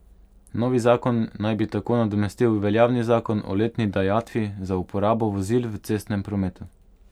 Novi zakon naj bi tako nadomestil veljavni zakon o letni dajatvi za uporabo vozil v cestnem prometu.